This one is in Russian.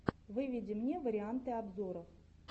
выведи мне варианты обзоров